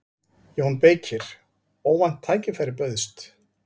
JÓN BEYKIR: Óvænt tækifæri bauðst.